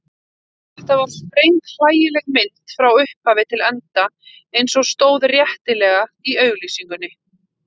Þetta var sprenghlægileg mynd frá upphafi til enda eins og stóð réttilega í auglýsingunni.